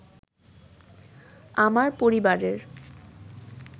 আমার পরিবারের